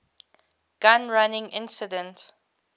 gun running incident